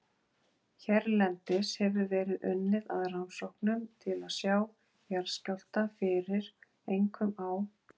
Hérlendis hefur verið unnið að rannsóknum til að sjá jarðskjálfta fyrir, einkum á